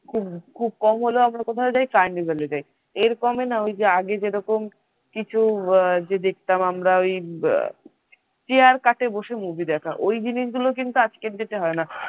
খুব খুব কম হলে আমরা কোথায় যাই কারনিভালিতে, এর কমে না আগে যেরকম কিছু গিয়ে দেখতাম আমরা chair কাটে বসে movie দেখা ওই জিনিসগুলো কিন্তু আজকের দিনে হয় না।